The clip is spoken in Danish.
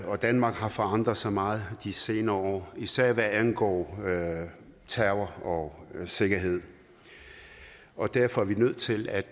og danmark har forandret sig meget de senere år især hvad angår terror og sikkerhed og derfor er vi nødt til at